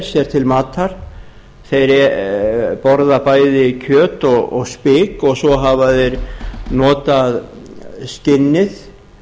sér til matar þeir borða bæði kjöt og spik og svo hafa þeir notað skinnið